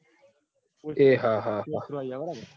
એ હા હા